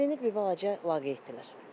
Valideynlər bir balaca laqeyddirlər.